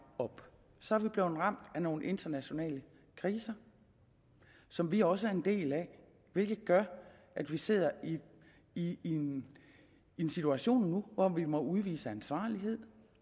op så er vi blevet ramt af nogle internationale kriser som vi også er en del af hvilket gør at vi sidder i i en en situation nu hvor vi må udvise ansvarlighed